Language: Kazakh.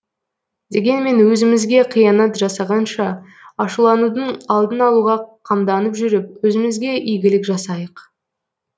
дегенмен өзімізге қиянат жасағанша ашуланудың алдын алуға қамданып жүріп өзімізге игілік жасайық